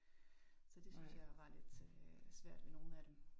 Så det synes jeg var lidt øh svært ved nogen af dem